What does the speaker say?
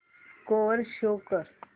score show कर